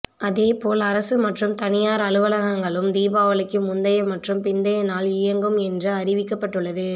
அதே போல் அரசு மற்றும் தனியார் அலுவலகங்களும் தீபாவளிக்கு முந்தைய மற்றும் பிந்தைய நாள் இயங்கும் என்றும் அறிவிக்கப்பட்டுள்ளது